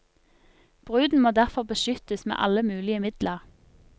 Bruden må derfor beskyttes med alle mulige midler.